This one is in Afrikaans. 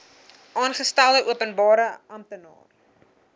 aangestelde openbare amptenaar